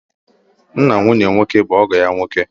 Nna nwunye nwoke bụ ọgọ ya nwoke